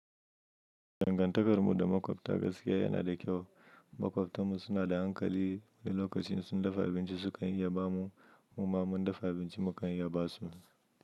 Dangantakar mu da makwabta gaskiya yana da kyau. Makwabtan mu suna da hankali, wani lokacin insun dafa abinci su kan iyaba mu, mu ma mun dafa abinci mu kan iyaba su.